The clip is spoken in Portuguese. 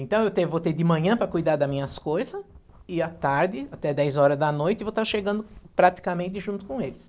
Então, eu tenho voltei de manhã para cuidar da minhas coisa, e à tarde, até dez horas da noite, vou estar chegando praticamente junto com eles.